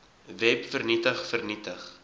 web vernietig vernietig